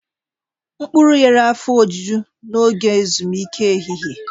Mkpuru nyere afọ ojuju n'oge ezumike ehihie.